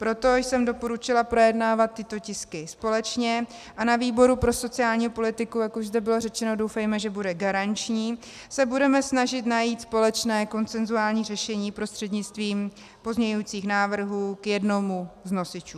Proto jsem doporučila projednávat tyto tisky společně a na výboru pro sociální politiku, jak už zde bylo řečeno, doufejme, že bude garanční, se budeme snažit najít společné konsenzuální řešení prostřednictvím pozměňujících návrhů k jednomu z nosičů.